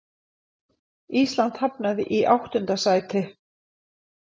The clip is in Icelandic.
Ísland hafnaði í áttunda sæti